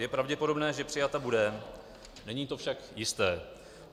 Je pravděpodobné, že přijata bude, není to však jisté.